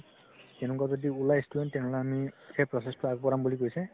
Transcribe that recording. এনেকুৱা যদি উলাই student তেনেহলে আমি সেই process তো আগবঢ়াম বুলি কৈছে